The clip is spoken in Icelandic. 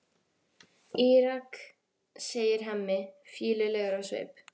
Írak, segir Hemmi, fýlulegur á svip.